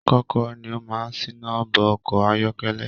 Kọkọrọ ni o máa n sina bo ọkọ ayọkẹlẹ.